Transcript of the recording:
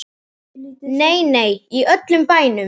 Nei, nei, í öllum bænum.